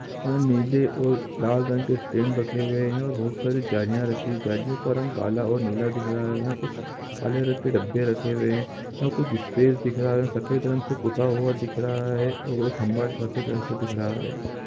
नीले और लाल रंग के स्टैंड रखे हुए है और बहुत सारी झांलिया रखी हुई है झालियों का रंग काला और नीला दिख रहा है यहाँ कुछ काले रंग के डब्बे रखे हुए है यहाँ कुछ स्पेस दिख रहा है और सफेद रंग से पुता हुआ दिख रहा हैं और एक खम्बा ट्रॉफी जैसा दिख रहा हैं ।